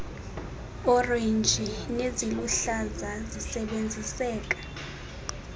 orenji neziluhlaza zisebenziseka